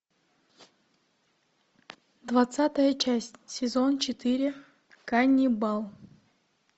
двадцатая часть сезон четыре ганнибал